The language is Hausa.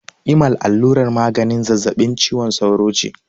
Imal allurar maganin zazzabin cizon sauro ce.